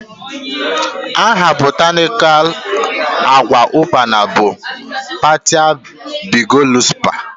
The botanical name of locust bean is partia biglobosa